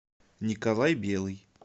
николай белый